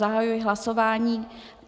Zahajuji hlasování.